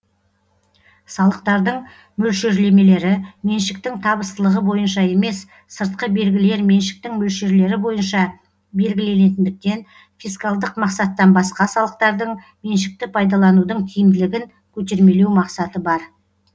салықтардың мөлшерлемелері меншіктің табыстылығы бойынша емес сыртқы белгілер меншіктің мөлшерлері бойынша белгіленетіндіктен фискалдық мақсаттан басқа салықтардың меншікті пайдаланудың тиімділігін көтермелеу мақсаты бар